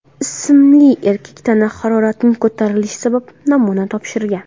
ismli erkak tana haroratining ko‘tarilishi sababli namuna topshirgan.